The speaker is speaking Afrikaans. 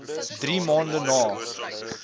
drie maande na